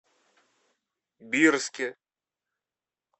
бирске